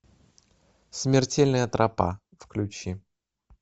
смертельная тропа включи